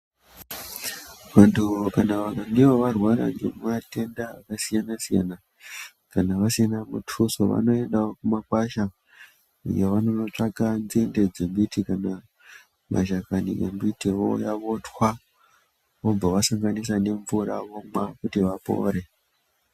Muntu kana vakange varwara ngematenda akasiyana-siyana, kana vasina muthuso , vanoendawo kumakwasha iyo vanonotsvaka nzinde dzemiti kana mashakani embiti ,vouya votwa vobva vasanganisa nemvura vomwa kuti vapore.